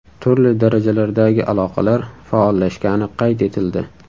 Turli darajalardagi aloqalar faollashgani qayd etildi.